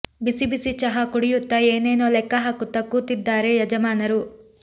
ಬಿಸಿ ಬಿಸಿ ಚಹಾ ಕುಡಿಯುತ್ತ ಏನೇನೊ ಲೆಕ್ಕ ಹಾಕುತ್ತ ಕೂತಿದ್ದಾರೆ ಯಜಮಾನರು